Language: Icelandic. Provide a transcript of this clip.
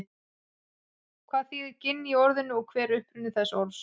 hvað þýðir ginn í orðinu og hver er uppruni þessa orðs